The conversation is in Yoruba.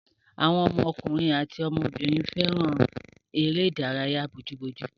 Àwọn ọmọkùnrin àti ọmọbìnrin fẹ́ràn èré-ìdárayá bójú ojú.